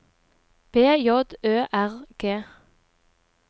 B J Ø R G